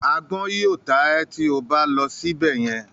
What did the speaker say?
“Agbọ́n” yóò ta ẹ́ tí o bá lọ síbẹ̀ yẹn.